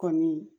Kɔni